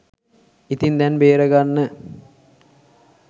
ඉතින් දැන් බේරගන්න